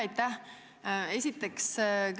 Aitäh!